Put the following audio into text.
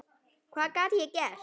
Hvað gat ég gert?